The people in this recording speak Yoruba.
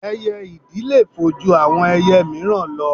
Ẹyẹ ìdì le fò ju àwọn ẹyẹ míìràn lọ